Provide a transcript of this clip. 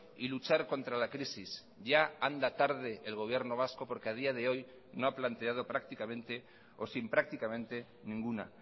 y luchar contra la crisis ya anda tarde el gobierno vasco porque a día de hoy no ha planteado prácticamente o sin prácticamente ninguna